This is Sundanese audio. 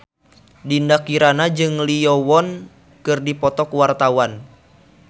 Dinda Kirana jeung Lee Yo Won keur dipoto ku wartawan